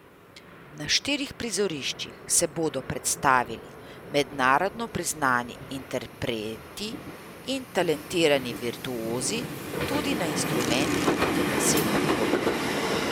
Na štirih prizoriščih se bodo predstavili mednarodno priznani interpreti in talentirani virtuozi, tudi na instrumentih kot je basetni rog.